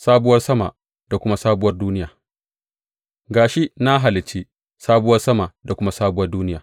Sabuwar sama da kuma sabuwar duniya Ga shi, na halicci sabuwar sama da kuma sabuwar duniya.